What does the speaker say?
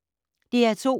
DR2